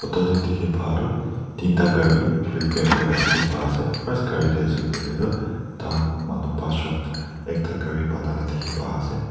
photo de diki pa tu dinta cari repair kura diki pa ase first cari de ase koile tu takan manu banchjun ekta cari buna la diki pa ase.